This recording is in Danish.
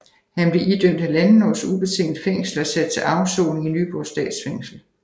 Han blev idømt 1½ års ubetinget fængsel og sat til afsoning i Nyborg Statsfængsel